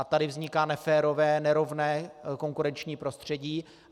A tady vzniká neférové, nerovné konkurenční prostředí.